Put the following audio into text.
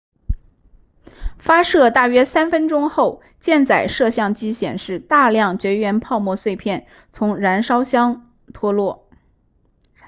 发射大约3分钟后箭载摄像机显示大量绝缘泡沫碎片从燃料箱脱落